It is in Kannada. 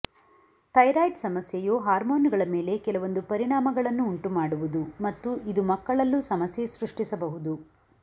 ಥೈರಾಯ್ಡ್ ಸಮಸ್ಯೆಯು ಹಾರ್ಮೋನುಗಳ ಮೇಲೆ ಕೆಲವೊಂದು ಪರಿಣಾಮಗಳನ್ನು ಉಂಟು ಮಾಡುವುದು ಮತ್ತು ಇದು ಮಕ್ಕಳಲ್ಲೂ ಸಮಸ್ಯೆ ಸೃಷ್ಟಿಸಬಹುದು